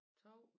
2